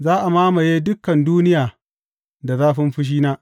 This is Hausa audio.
Za a mamaye dukan duniya da zafin fushina.